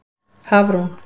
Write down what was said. Hafrún